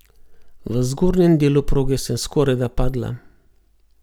V zgornjem delu proge sem skorajda padla.